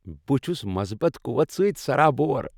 بہٕ چھس مَصبت قوت سۭتۍ سرابور ۔